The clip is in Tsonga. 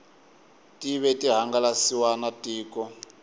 tive ti hangalasiwa na tiko